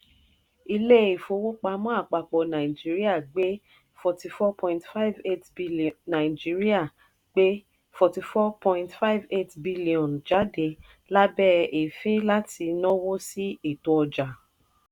ilé ìfowó-pamọ́ àpapọ̀ nàìjíríà gbé n forty four point five eight nàìjíríà gbé n forty four point five eight billion jáde lábẹ́ efi láti náwó sí ètò ọjà.